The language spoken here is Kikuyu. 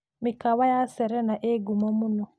Mĩkawa ya Serena ĩĩ ngumo.